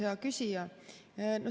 Hea küsija!